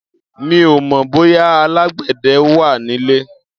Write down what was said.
Mi ò mọ̀ bóyá alágbẹ̀dẹ wà nílé.